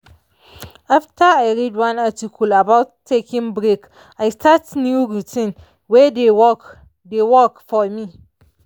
after i read one article about taking break i start new routine wey dey work dey work for me